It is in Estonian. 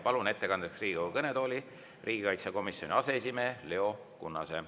Palun ettekandjaks Riigikogu kõnetooli riigikaitsekomisjoni aseesimehe Leo Kunnase.